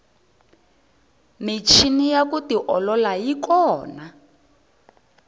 michini ya ku tiolola yi kona